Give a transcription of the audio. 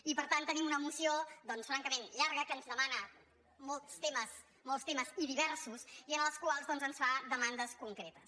i per tant tenim una moció francament llarga que ens demana molts temes i diversos i en els quals doncs ens fa demandes concretes